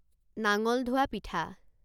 নাঙল ধোৱা পিঠা